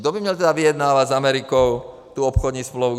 Kdo by měl tedy vyjednávat s Amerikou tu obchodní smlouvu?